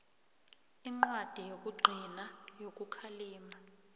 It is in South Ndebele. incwadi yokugcina yokukhalima